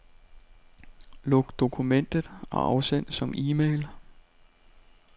Luk dokumentet og afsend som e-mail.